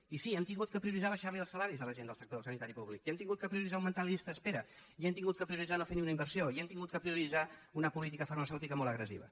i sí hem hagut de prioritzar abaixar li els salaris a la gent del sector sanitari públic i hem hagut de prioritzar augmentar la llista d’espera i hem hagut de prioritzar no fer ni una inversió i hem hagut de prioritzar una política farmacèutica molt agressiva